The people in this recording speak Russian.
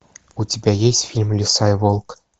у тебя есть фильм лиса и волк